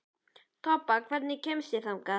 Tobba, hvernig kemst ég þangað?